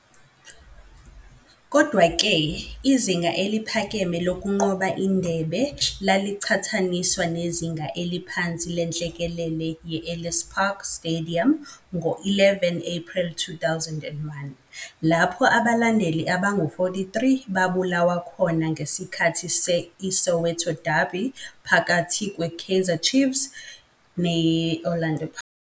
Kodwa-ke, izinga eliphakeme lokunqoba indebe lalichathaniswa nezinga eliphansi lenhlekelele ye-"Ellis Park Stadium" ngo-11 April 2001, lapho abalandeli abangu-43 babulawa khona ngesikhathi se-ISoweto Derby phakathi kwe-Chiefs ne-Orlando Pirates.